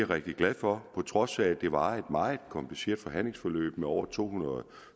rigtig glad for på trods af at det var et meget kompliceret forhandlingsforløb med over to hundrede